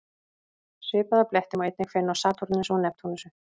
Svipaða bletti má einnig finna á Satúrnusi og Neptúnusi.